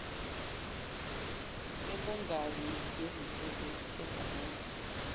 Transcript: yokungabi nezinsuku ezanele